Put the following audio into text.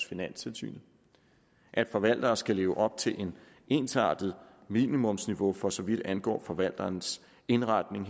finanstilsynet at forvalteren skal leve op til et ensartet minimumsniveau for så vidt angår forvalterens indretning